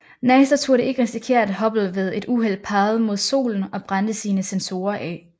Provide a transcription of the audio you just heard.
NASA turde ikke risikere at Hubble ved et uheld pegede mod solen og brændte sine sensorer af